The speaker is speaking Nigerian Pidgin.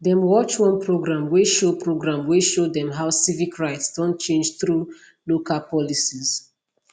dem watch one programme wey show programme wey show dem how civic rights don change thru local policies